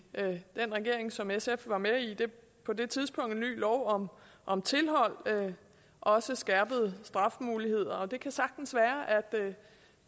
den regering som sf var med i på det tidspunkt en ny lov om om tilhold og også skærpede straffemuligheder det kan sagtens være at det